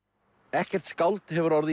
ekkert skáld hefur orðið